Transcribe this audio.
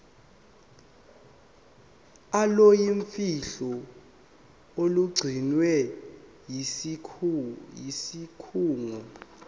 oluyimfihlo olugcinwe yisikhungo